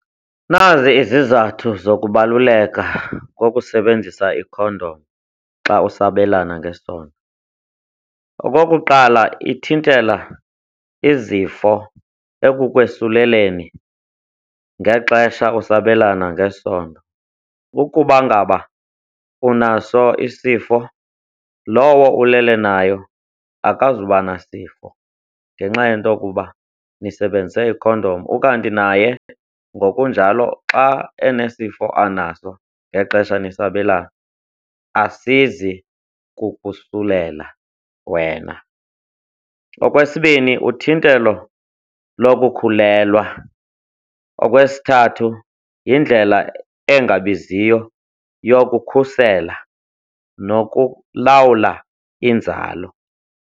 Nazi izizathu zokubaluleka kokusebenzisa ikhondom xa usabelana ngesondo. Okokuqala, ithintela izifo ekukwesuleleni ngexesha usabelana ngesondo. Ukuba ngaba unaso isifo, lowo ulele nayo akazuba nasifo ngenxa yento ukuba nisebenzise ikhondom, ukanti naye ngokunjalo xa enesifo anaso ngexesha nisabelana, asizi kukosulela wena. Okwesibini, uthinthelo lokukhulelwa, okwesithathu yindlela engabiziyo yokukhusela nokulawula inzalo.